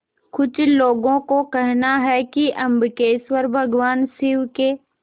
कुछ लोगों को कहना है कि अम्बकेश्वर भगवान शिव के